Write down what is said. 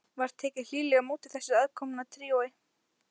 Var tekið hlýlega á móti þessu aðkomna tríói.